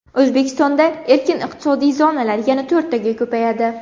O‘zbekistonda erkin iqtisodiy zonalar yana to‘rttaga ko‘payadi.